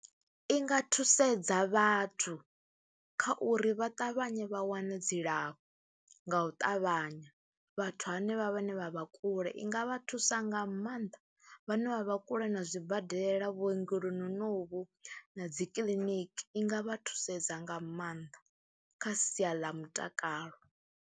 I nga thusedza vhathu kha uri vha ṱavhanye vha wane dzilafho nga u ṱavhanya, vhathu hanevha vhane vha vha kule i nga vha thusa nga maanḓa, vhane vha vha kule na zwibadela, vhuongeloni honovhu na dzi kiḽiniki i nga vha thusedza nga maanḓa kha sia ḽa mutakalo.